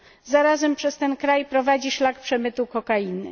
Zarazem przez ten kraj prowadzi szlak przemytu kokainy.